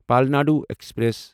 Palnadu express